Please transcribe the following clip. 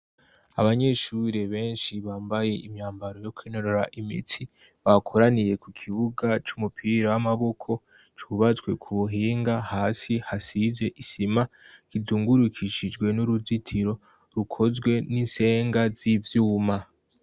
Abanyeshure benshi bambaye imyambaro yo kwinorera imitsi. Bakoraniye ku kibuga c'umupira w'amaboko, cubatswe ku buhinga hasi hasize isima, kizungurukishijwe n'uruzitiro, rukozwe n'insenga z'ivyuma.